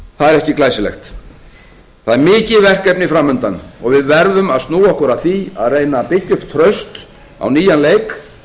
það er ekki glæsilegt það er mikið verkefni fram undan og við verðum að snúa okkur að því að reyna að byggja upp traust á nýjan leik